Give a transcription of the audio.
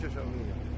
Əlini çək aşağı.